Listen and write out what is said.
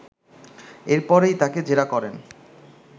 এরপরেই তাকে জেরা করেন